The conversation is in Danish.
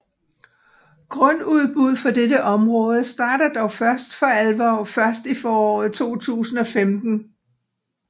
Grundudbud for dette område starter dog for alvor først i foråret 2015